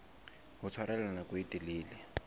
ho tshwarella nako e telele